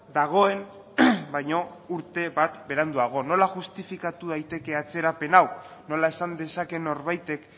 dagoen baino urte bat beranduago nola justifikatu daiteke atzerapen hau nola esan dezaken norbaitek